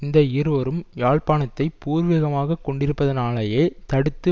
இந்த இருவரும் யாழ்ப்பாணத்தை பூர்வீகமாகக் கொண்டிருப்பதினாலேயே தடுத்து